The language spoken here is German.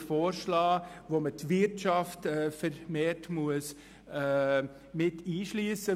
Dieser verlangt, dass die Wirtschaft vermehrt einbezogen werden muss.